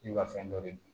I bɛ ka fɛn dɔ de dun